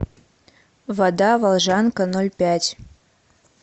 вода волжанка ноль пять